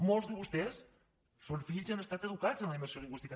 molts de vostès són fills i han estat educats en la immersió lingüística